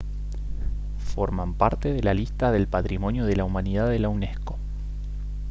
forman parte de la lista del patrimonio de la humanidad de la unesco